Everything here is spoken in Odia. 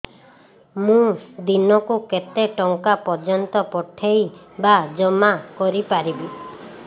ମୁ ଦିନକୁ କେତେ ଟଙ୍କା ପର୍ଯ୍ୟନ୍ତ ପଠେଇ ବା ଜମା କରି ପାରିବି